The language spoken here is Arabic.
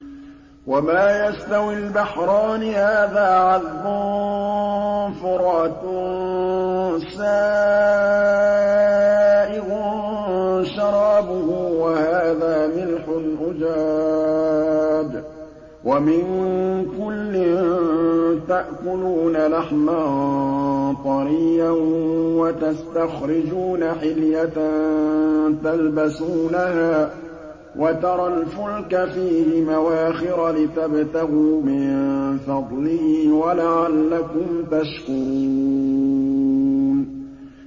وَمَا يَسْتَوِي الْبَحْرَانِ هَٰذَا عَذْبٌ فُرَاتٌ سَائِغٌ شَرَابُهُ وَهَٰذَا مِلْحٌ أُجَاجٌ ۖ وَمِن كُلٍّ تَأْكُلُونَ لَحْمًا طَرِيًّا وَتَسْتَخْرِجُونَ حِلْيَةً تَلْبَسُونَهَا ۖ وَتَرَى الْفُلْكَ فِيهِ مَوَاخِرَ لِتَبْتَغُوا مِن فَضْلِهِ وَلَعَلَّكُمْ تَشْكُرُونَ